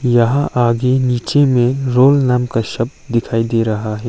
यहां आगे नीचे में रोल नाम का शब्द दिखाई दे रहा है।